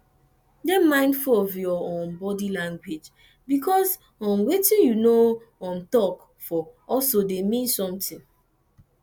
dey mindful of your um body language because um wetin you no um talk for also dey mean something